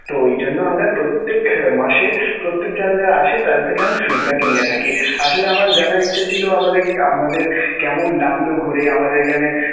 তো এইজন্য আমরা প্রত্যেক মাসে প্রত্যেকে যারা যারা আসে তাদের থেকে আমরা feedback নিয়ে থাকি. আসলে আমার জানার ইচ্ছা ছিলো আমাদের আপনাদের কেমন লাগলো ঘুরে আমাদের এখানে.